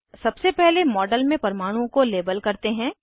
सबसे पहले मॉडल मे परमाणुओं को लेबल करते हैं